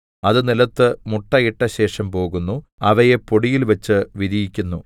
അത് നിലത്ത് മുട്ട ഇട്ടശേഷം പോകുന്നു അവയെ പൊടിയിൽ വച്ച് വിരിയിക്കുന്നു